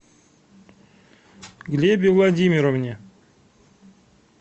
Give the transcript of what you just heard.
глебе владимировне